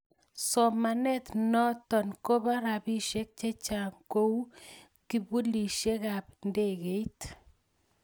somanet noto koba robishek chechang ku kipulishekab ndegeit